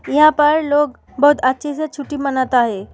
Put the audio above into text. यहां पर लोग बहुत अच्छे से छुट्टी मानता है।